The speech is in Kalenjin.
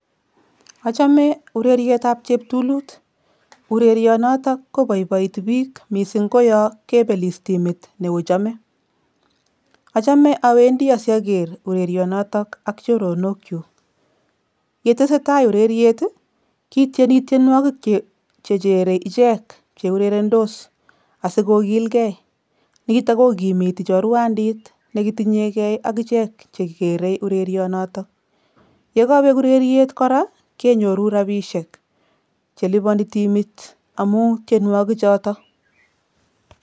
Achame ureryetap cheptulut. Urerionoto koboiboiti biik mising ko yokebelis timit neochome. Achame awendi asiaker urerionotok ak choronokchu. Yetesetai ureriet, kitieni tienwokik chechere ichek cheurerendos asikokilgei. Nito kokimiti chorwandit nekitinyeke ak ichek chekere urerionoto. Yekobek ureriet kora kenyoru rabiishek cheliponi timit amu tienwokichoto.